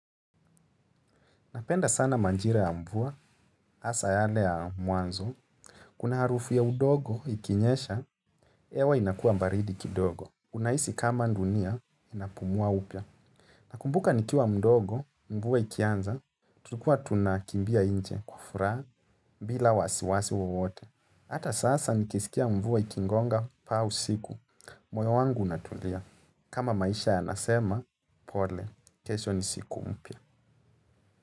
Napenda sana manjira ya mvua, asa yale ya mwanzo. Kuna harufu ya udogo ikinyesha, ewa inakua mbaridi kidogo. Unaisi kama ndunia, inapumua upia. Nakumbuka nikiwa mdogo, mvua ikianza, tulikua tunakimbia inje kufraa, bila wasiwasi wote. Hata sasa nikisikia mvua ikingonga paa usiku, moyo wangu unatulia. Kama maisha ya nasema, pole, kesho ni siku mpya.